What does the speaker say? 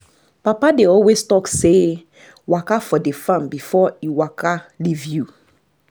papa dey always talk say "waka for the farm before e waka leave you"